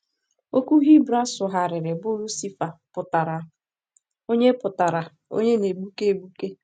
Okwu Hibru a sụgharịrị bụ “ Lucifa” pụtara “onye pụtara “onye na-egbuke egbuke.”